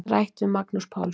Rætt við Magnús Pálsson.